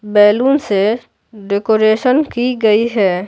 Balloon से decoration की गई है।